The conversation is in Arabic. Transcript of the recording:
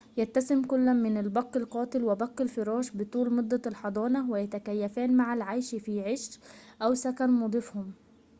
يتسم كل من البق القاتل و"بق الفراش بطول مدة الحضانة، ويتكيفان مع العيش في عش أو سكن مضيفهم